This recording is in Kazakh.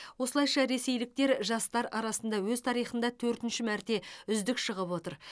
осылайша ресейліктер жастар арасында өз тарихында төртінші мәрте үздік шығып отыр